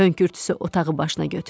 Hönkürtüsü otağı başına götürdü.